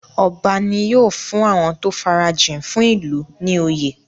Ọba ní́ yóò fún àwọn tó farajìn fún ìlú ní oyè.